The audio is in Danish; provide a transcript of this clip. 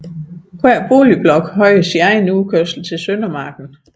Hver boligblok have sin egen udkørsel til Søndermarken